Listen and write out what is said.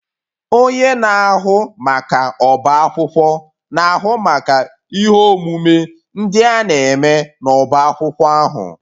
Onye na-ahụ maka ọbá akwụkwọ na-ahụ maka ihe omume ndị a na-eme n'ọbá akwụkwọ ahụ